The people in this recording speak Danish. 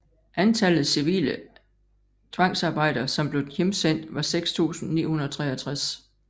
Antallet civile tvangsarbejdere som blev hjemsendt var 6 963